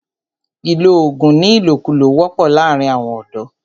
ìlọ oògùn ní ìlòkulò wọ́pọ̀ láàrín àwọn ọ̀dọ̀.